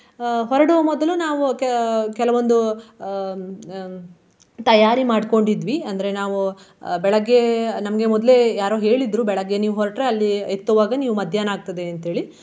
ಅಹ್ ಹೊರಡುವ ಮೊದಲು ನಾವು ಕ~ ಕೆಲವೊಂದು ಹ್ಮ್ ಹ್ಮ್ ತಯಾರಿ ಮಾಡ್ಕೊಂಡಿದ್ವಿ. ಅಂದ್ರೆ ನಾವು ಬೆಳಗ್ಗೆ ನಮ್ಗೆ ಮೊದ್ಲೇ ಯಾರೋ ಹೇಳಿದ್ರು ಬೆಳಗ್ಗೆ ನೀವು ಹೊರಟ್ರೆ ಅಲ್ಲಿ ಎತ್ತುವಾಗ ನೀವು ಮಧ್ಯಾಹ್ನ ಆಗ್ತದೆ ಅಂತೇಳಿ.